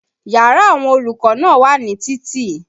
Yàrá àwọn olùkọ́ náà wà ní títì